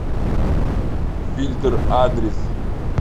фильтр адрес